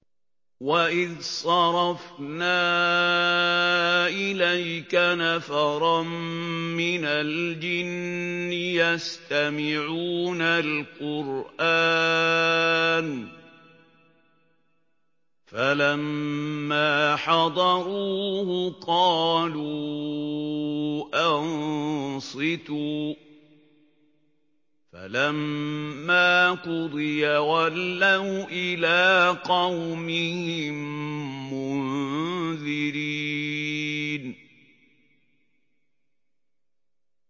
وَإِذْ صَرَفْنَا إِلَيْكَ نَفَرًا مِّنَ الْجِنِّ يَسْتَمِعُونَ الْقُرْآنَ فَلَمَّا حَضَرُوهُ قَالُوا أَنصِتُوا ۖ فَلَمَّا قُضِيَ وَلَّوْا إِلَىٰ قَوْمِهِم مُّنذِرِينَ